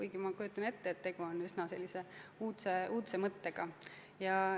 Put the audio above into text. Samas kujutan ette, et tegu on üsna uudse mõttega.